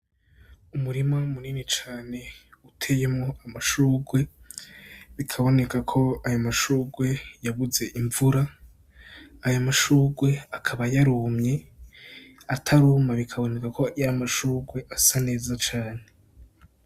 Umurima munini cane uteyemwo amashugwe, bikaboneka ko ayo mashugwe yabuze imvura. Ayo mashugwe akaba yarumye, ataruma bikaboneka ko yari amashugwe asa neza cane.